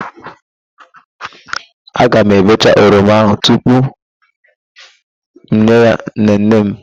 Aga m ebecha oroma ahụ tupu m nye ya nnenne m.